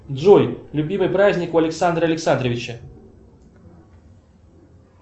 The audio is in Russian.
джой любимый праздник у александра александровича